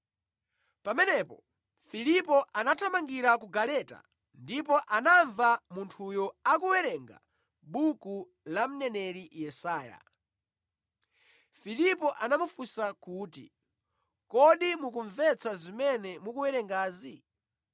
Pamenepo Filipo anathamangira ku galeta ndipo anamva munthuyo akuwerenga buku la mneneri Yesaya. Filipo anamufunsa kuti, “Kodi mukumvetsa zimene mukuwerengazi?”